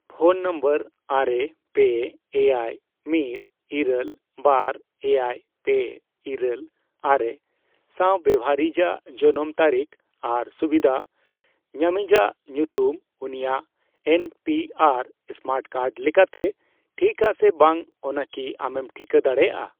Phone number ᱟᱨᱮ, ᱯᱮ, ᱮᱭᱟᱭ, ᱢᱤᱫ, ᱤᱨᱟᱹᱞ, ᱵᱟᱨ, ᱮᱭᱟᱭ, ᱯᱮ, ᱤᱨᱟᱹᱞ, ᱟᱨᱮ ᱥᱟᱶ ᱵᱮᱣᱦᱟᱨᱤᱭᱤᱡᱟᱜ ᱡᱚᱱᱚᱢ ᱛᱟᱹᱨᱤᱠᱷ ᱟᱨ ᱥᱩᱵᱤᱫᱷᱟ ᱧᱟᱢᱤᱡᱟᱜ ᱧᱩᱛᱩᱢ ᱩᱱᱤᱭᱟᱜ N P R smart card ᱞᱮᱠᱟᱛᱮ ᱴᱷᱤᱠᱟ ᱥᱮ ᱵᱟᱝ ᱚᱱᱟ ᱠᱤ ᱟᱢᱮᱢ ᱴᱷᱤᱠᱟᱹ ᱫᱟᱲᱮᱭᱟᱜᱼᱟ ᱾